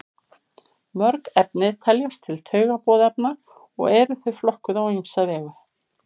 mörg efni teljast til taugaboðefna og eru þau flokkuð á ýmsa vegu